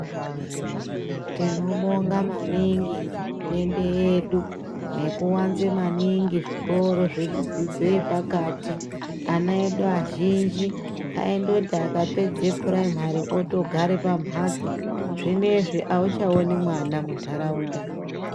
Tinobonga maningi hurumende yedu nekawanze maningi zvikoro zvedzidzo yepakati. Ana edu azhinji ,aindoti akapedze phuraimari otogare pamhatso. Zvinezvi auchaoni mwana muntaraunda .